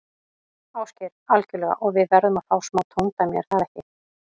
Ásgeir: Algjörlega og við verðum að fá smá tóndæmi, er það ekki?